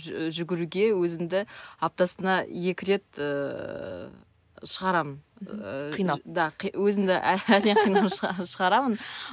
жүгіруге өзімді аптасына екі рет ыыы шығарамын ыыы қинап да өзімді қинап шығарамын